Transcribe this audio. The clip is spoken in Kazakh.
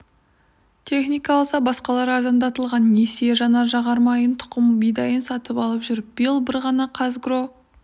техника алса басқалары арзандатылған несиеге жанар-жағармайын тұқым бидайын сатып алып жүр биыл бір ғана қазагро